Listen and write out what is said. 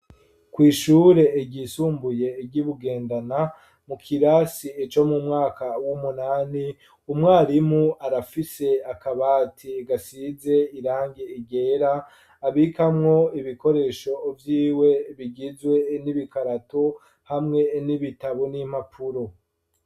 Kw'ishure, ryisumbuye ry'ibugendana, mu kirasi co mu mwaka w'umunani ,umwarimu arafise akabati gasize, irangi ryera ,abikamwo, ibikoresho vyiwe ,bigizwe n'ibikarato hamwe n'ibitabo, n'impapuro.